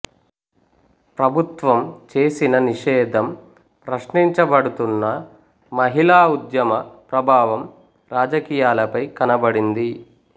ప్రభుత్వం చేసిన నిషేధం ప్రశ్నించబడుతున్నా మహిళా ఉద్యమ ప్రభావం రాజకీయాలపై కనబడింది